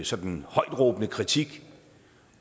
sådan højtråbende kritik